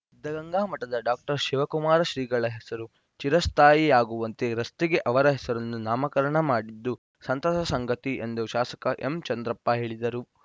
ಸಿದ್ಧಗಂಗಾ ಮಠದ ಡಾಶಿವಕುಮಾರ ಶ್ರೀಗಳ ಹೆಸರು ಚಿರಸ್ಥಾಯಿಯಾಗುವಂತೆ ರಸ್ತೆಗೆ ಅವರ ಹೆಸರನ್ನು ನಾಮಕರಣ ಮಾಡಿದ್ದು ಸಂತಸದ ಸಂಗತಿ ಎಂದು ಶಾಸಕ ಎಂ ಚಂದ್ರಪ್ಪ ಹೇಳಿದರು